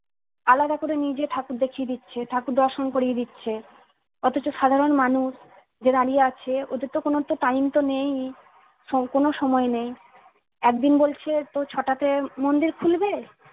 আলাদা করে নিয়ে যেয়ে ঠাকুর দেখিয়ে দিচ্ছে ঠাকুর দর্শন করিয়ে দিচ্ছে অথচ সাধারণ মানুষ যে দাঁড়িয়ে আছে ওদের তো কোনো তো time নেই সম্পূর্ণ সময় নেই একদিন বলছে তো ছটাতে মন্দির খুলবে